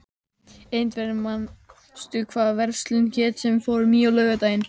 Ingveldur, manstu hvað verslunin hét sem við fórum í á laugardaginn?